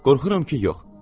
Qorxuram ki, yox.